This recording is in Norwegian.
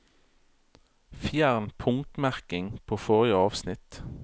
Fjern punktmerking på forrige avsnitt